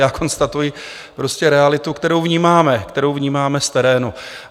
Já konstatuji prostě realitu, kterou vnímáme, kterou vnímáme z terénu.